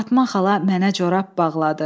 Fatma xala mənə corab bağladı.